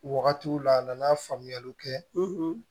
Wagatiw la a nana faamuyaliw kɛ